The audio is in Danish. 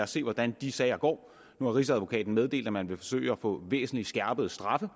se hvordan de sager går nu har rigsadvokaten meddelt at man vil forsøge at få væsentlig skærpede straffe